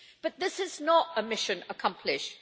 But this is not a mission accomplished.